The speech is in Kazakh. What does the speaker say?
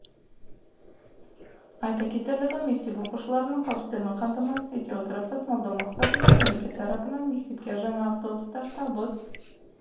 айта кетерлігі мектеп оқушыларының қауіпсіздігін қамтамасыз ете отырып тасымалдау мақсатында мемлекет тарапынан мектепке жаңа автобустар табыс